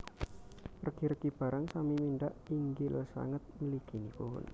Regi regi barang sami mindhak inggil sanget mliginipun